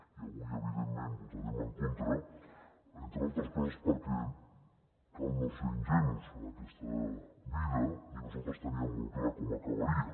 i avui evidentment hi votarem en contra entre altres coses perquè cal no ser ingenus en aquesta vida i nosaltres teníem molt clar com acabaria